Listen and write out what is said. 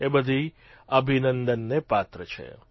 એ બધી અભિનંદનને પાત્ર છે